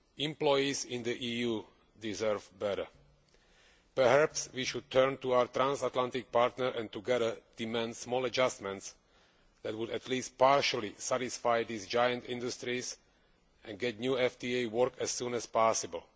Employees in the EU deserve better. Perhaps we should turn to our transatlantic partner and together demand small adjustments which would at least partially satisfy these giant industries and get new FTAs to work as soon as possible.